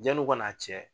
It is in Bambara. Janni u ka n'a cɛ